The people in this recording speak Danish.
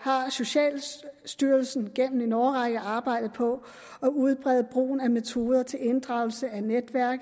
har socialstyrelsen gennem en årrække arbejdet på at udbrede brugen af metoder til inddragelse af netværk